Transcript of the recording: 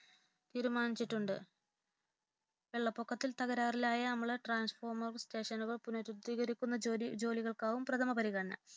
സാധരണ ജീവനക്കാരുടെയും ട്രാൻഫോർമറുകളുടെയും അടക്കമുള്ള സാധനങ്ങൾ നൽകാമെന്ന് അറിയിച്ചിട്ടുണ്ട് കണക്ഷൻ പുനഃസ്ഥാപിക്കാൻ താമസിക്കുന്ന വീടുകളിലെത്തി leakage circuit break light point